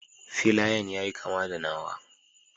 Filayan yayi kama da nawa.